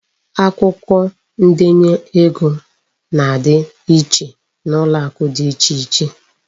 Akwụkwọ ndenye ego na-adị iche n'ụlọakụ dị iche iche.